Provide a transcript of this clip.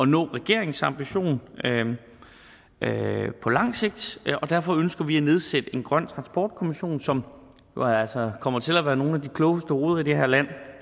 nå regeringens ambition på langt sigt og derfor ønsker vi at nedsætte en grøn transportkommission som jo altså kommer til at være nogle af de klogeste hoveder i det her land